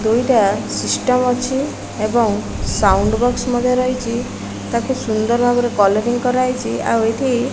ଦୁଇଟା ସିଷ୍ଟମ ଅଛି ଏବଂ ସାଉଣ୍ଡ ବକ୍ସ ମଧ୍ୟ ରହିଛି ତାକୁ ସୁନ୍ଦର୍ ଭାବେ କଲରିଂ କରା ହେଇଛି ଆଉ ଏଠି --